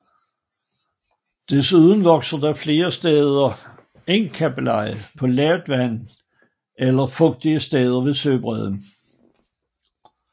Desuden vokser der flere steder engkabbeleje på lavt vand eller fugtige steder ved søbredden